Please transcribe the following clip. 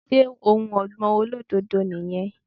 Ṣé ohun ọ̀gbìn olódòdó ni yan